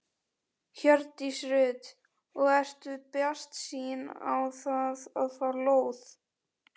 Hjördís Rut: Og ertu bjartsýnn á það að fá lóð?